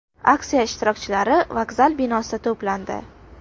Aksiya ishtirokchilari vokzal binosida to‘plandi.